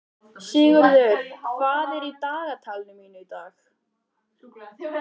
Sigurður, hvað er í dagatalinu mínu í dag?